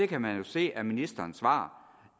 kan jo se af ministerens svar